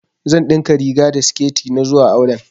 Zan ɗinka riga da siketi na zuwa auren